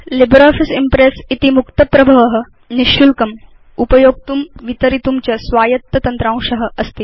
LibreOffice Impress इति मुक्तप्रभव निशुल्कं उपयोक्तुं वितरितुं च स्वायत्त तन्त्रांश अस्ति